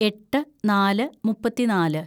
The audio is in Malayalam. എട്ട് നാല് മുപ്പത്തിന്നാല്‌